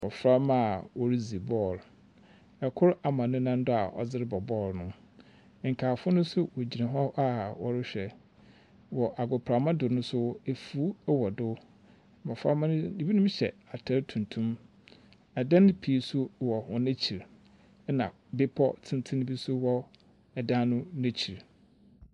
Ɔhrɛma a ɔredzi ball. Ɔkor ama ne nan do a ɔde rebɔ ball no. Nkaafo nso gyina hɔ a wɔrehwɛ. Wɔ agoprama do nso afuw wɔ do. Mbofra no, bi hyɛ atar tuntum. Adan pii nso wɔ hɔn akyir. Na bepɔ tsentsen bi nso wɔ dan no n'akyir.